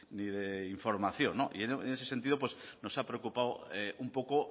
ni de información y en ese sentido pues nos ha preocupado un poco